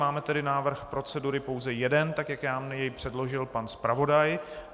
Máme tedy návrh procedury pouze jeden tak, jak nám jej předložil pan zpravodaj.